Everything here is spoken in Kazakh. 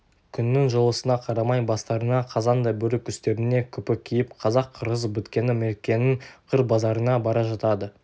күннің жылысына қарамай бастарына қазандай бөрік үстеріне күпі киіп қазақ қырғыз біткені меркенің қыр базарына бара жатады